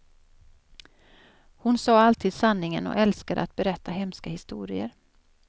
Hon sa alltid sanningen och älskade att berätta hemska historier.